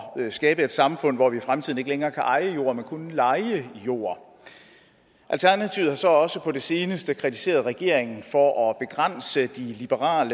skabe et samfund hvor vi i fremtiden ikke længere kan eje jord men kun leje jord alternativet har så også på det seneste kritiseret regeringen for at begrænse de liberale